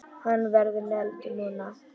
Hann verður negldur núna!